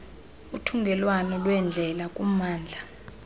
uthungelwano lweendlela kummandla